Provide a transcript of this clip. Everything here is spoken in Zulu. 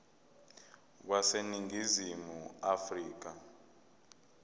wase ningizimu afrika